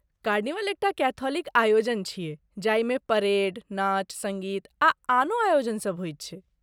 Carnival एकटा Catholic आयोजन छियै जाहिमे परेड, नाच, सङ्गीत आ आनो आयोजनसभ होयत छै।